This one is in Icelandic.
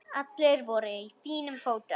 Allir voru í fínum fötum.